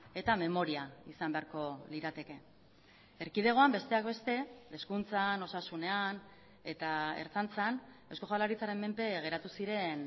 eta memoria izan beharko lirateke erkidegoan besteak beste hezkuntzan osasunean eta ertzaintzan eusko jaurlaritzaren menpe geratu ziren